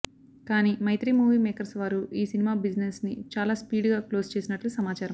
కానీ Mythri Movie Makers వారు ఈ సినిమా బిజినెస్ ని చాలా స్పీడుగా క్లోజ్ చేసినట్లు సమాచారం